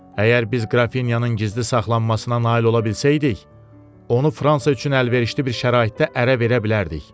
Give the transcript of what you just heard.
Əgər biz Qrafinyanın gizli saxlanmasına nail ola bilsəydik, onu Fransa üçün əlverişli bir şəraitdə ərə verə bilərdik.